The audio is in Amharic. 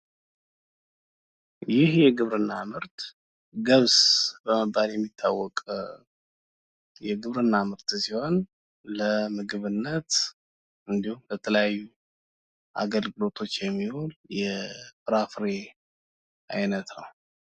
ይህ የግብርና ምርት ገብስ በመባል የሚታወቅ የግብርና ምርት ሲሆን ለምግብነት እንድሁም ለተለያዩ አገልግሎቶች የሚውል የፍራፍሬ አይነት ነው።